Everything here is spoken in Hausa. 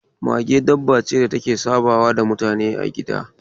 Mage dabbace da ke sabawa da mutane a gida.